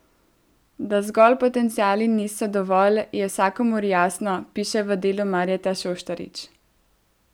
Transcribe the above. Da zgolj potenciali niso dovolj, je vsakomur jasno, piše v Delu Marjeta Šoštarič.